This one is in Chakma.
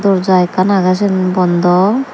door ja ekkan aage siyan bondo.